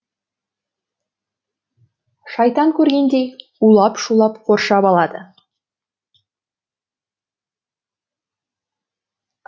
шайтан көргендей улап шулап қоршап алады